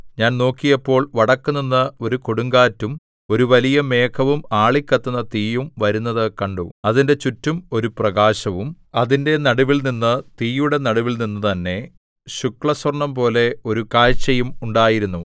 ഞാൻ നോക്കിയപ്പോൾ വടക്കുനിന്ന് ഒരു കൊടുങ്കാറ്റും ഒരു വലിയ മേഘവും ആളിക്കത്തുന്ന തീയും വരുന്നത് കണ്ടു അതിന്റെ ചുറ്റും ഒരു പ്രകാശവും അതിന്റെ നടുവിൽനിന്ന് തീയുടെ നടുവിൽനിന്നു തന്നെ ശുക്ലസ്വർണ്ണംപോലെ ഒരു കാഴ്ചയും ഉണ്ടായിരുന്നു